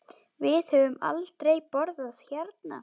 Við höfum aldrei borðað hérna.